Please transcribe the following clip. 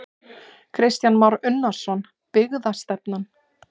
Kristján Már Unnarsson: Byggðastefnan?